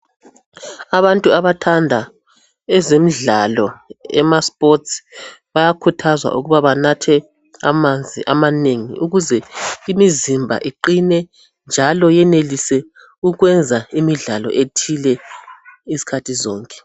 abantu abathanda ezomdlalo ema sport bayakhuthazwa ukuba banathe amanzi amanengi ukuze imizimba iqhine njalo yenelise ukwenza imidlalo ethile izikhathi zonke